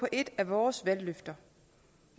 et af vores valgløfter